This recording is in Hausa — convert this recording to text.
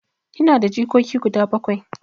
Ina da jikoki guda bakwai.